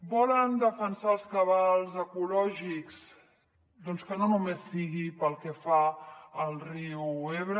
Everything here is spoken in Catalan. volen defensar els cabals ecològics doncs que no només sigui pel que fa al riu ebre